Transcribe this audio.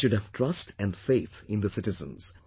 We should have trust and faith in the citizens